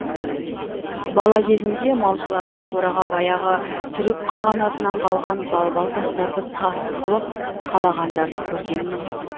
бала кезімде малшылардың қораға баяғы түрік қағанатынан қалған балбал тастарды тас қылып қалағандарын көргенмін